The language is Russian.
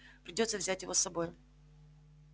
придётся взять его с собой